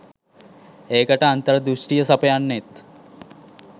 ඒකට අන්තර්දෘෂ්ටිය සපයන්නෙත්